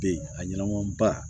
Be a ɲɛnɛbɔ ba